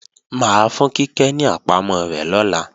Mà á fún Kíkẹ́ ní àpamọ́ rẹ̀ lọ́la